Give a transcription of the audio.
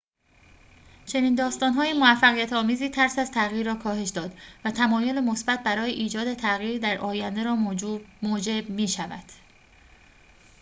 چنین داستان‌های موفقیت‌آمیزی ترس از تغییر را کاهش داد و تمایل مثبت برای ایجاد تغییر در آینده را موجب می‌شود